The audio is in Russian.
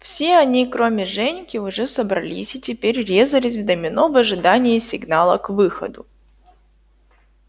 все они кроме женьки уже собрались и теперь резались в домино в ожидании сигнала к выходу